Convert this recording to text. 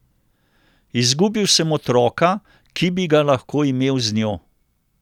Izgubil sem otroka, ki bi ga lahko imel z njo.